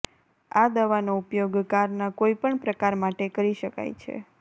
આ દવાનો ઉપયોગ કારના કોઈપણ પ્રકાર માટે કરી શકાય છે